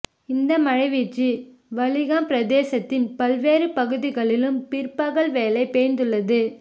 இந்த மழை வீழ்ச்சி வலிகாம் பிரதேசத்தின் பல்வேறு பகுதிகளிலும் பிற்பகல் வேளை பெய்துள்ளது